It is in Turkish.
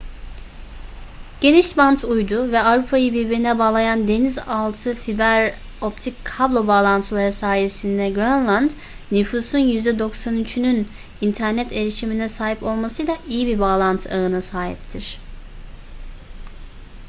genişbant uydu ve avrupayı birbirine bağlayan deniz altı fiber optik kablo bağlantıları sayesinde grönland nüfusun %93'ünün internet erişimine sahip olmasıyla iyi bir bağlantı ağına sahiptir